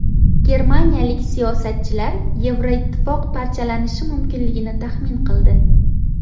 Germaniyalik siyosatchilar Yevroittifoq parchalanishi mumkinligini taxmin qildi.